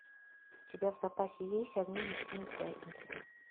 у тебя в запасе есть огни ночной пятницы